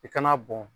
I kana bɔn